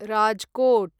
Rajkot